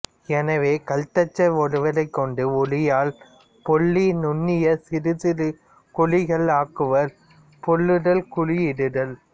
எனவே கல்தச்சர் ஒருவரைக் கொண்டு உளியால் பொள்ளி நுண்ணிய சிறு சிறு குழிகள் ஆக்குவர் பொள்ளுதல் குழி இடுதல்